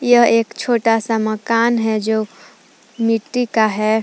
यह एक छोटा सा मकान है जो मिट्टी का है।